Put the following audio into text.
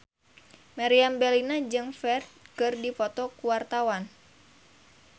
Meriam Bellina jeung Ferdge keur dipoto ku wartawan